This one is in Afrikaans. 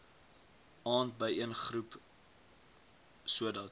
aand byeengeroep sodat